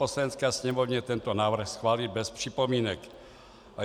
Poslanecké sněmovně tento návrh schválit bez připomínek.